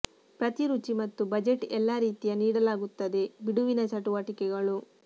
ಪ್ರತಿ ರುಚಿ ಮತ್ತು ಬಜೆಟ್ ಎಲ್ಲಾ ರೀತಿಯ ನೀಡಲಾಗುತ್ತದೆ ಬಿಡುವಿನ ಚಟುವಟಿಕೆಗಳು